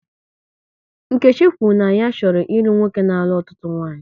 Nkechi kwuru na ya chọrọ ịlụ nwoke na-alụ ọtụtụ nwaanyị